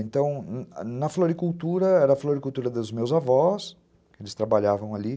Então, na floricultura, era a floricultura dos meus avós, eles trabalhavam ali.